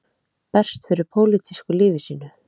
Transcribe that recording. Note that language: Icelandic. Berst fyrir pólitísku lífi sínu